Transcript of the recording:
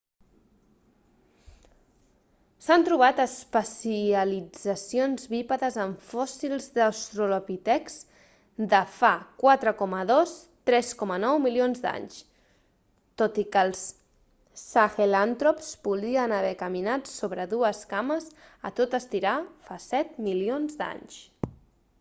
s'han trobat especialitzacions bípedes en fòssils d'austrolpitecs de fa 4.2-3.9 milions d'anys tot i que els sahelantrops podrien haver caminat sobre 2 cames a tot estirar fa 7 milions d'anys